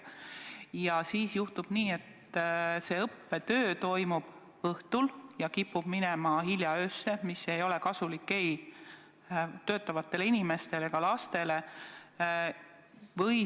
Ja siis juhtub nii, et õppetöö toimub õhtul ja kipub minema hilja öösse, mis ei ole kasulik ei töötavatele inimestele ega lastele.